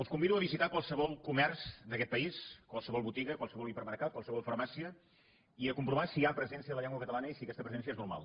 els convido a visitar qualsevol comerç d’aquest país qualsevol botiga qualsevol hipermercat qualsevol farmàcia i a comprovar si hi ha presència de la llengua catalana i si aquesta presència és normal